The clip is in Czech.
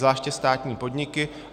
Zvláště státní podniky.